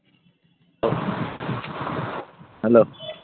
hello